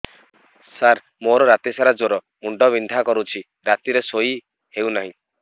ସାର ମୋର ରାତି ସାରା ଜ୍ଵର ମୁଣ୍ଡ ବିନ୍ଧା କରୁଛି ରାତିରେ ଶୋଇ ହେଉ ନାହିଁ